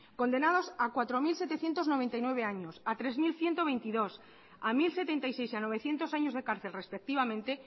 condenados a cuatro mil setecientos noventa y nueve años a tres mil ciento veintidós a mil setenta y seis a novecientos años de cárcel respectivamente